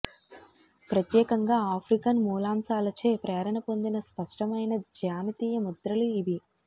ప్రత్యేకంగా ఆఫ్రికన్ మూలాంశాలచే ప్రేరణ పొందిన స్పష్టమైన జ్యామితీయ ముద్రలు ఇవి